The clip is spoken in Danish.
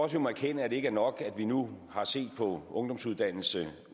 vi må erkende at det ikke er nok at vi nu har set på ungdomsuddannelserne